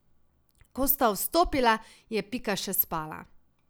Ko sta vstopila, je Pika še spala.